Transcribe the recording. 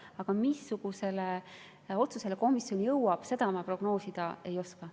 Aga missugusele otsusele komisjon jõuab, seda prognoosida ei oska.